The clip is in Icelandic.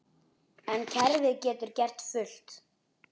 En kerfið getur gert fullt.